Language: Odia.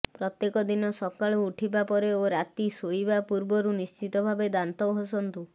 ପ୍ରତ୍ୟେକ ଦିନ ସକାଳୁ ଉଠିବା ପରେ ଓ ରାତି ଶୋଇବା ପୂର୍ବରୁ ନିଶ୍ଚିତ ଭାବେ ଦାନ୍ତ ଘଷନ୍ତୁ